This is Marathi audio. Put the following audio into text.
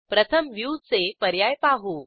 प्रथम व्ह्यू चे पर्याय पाहू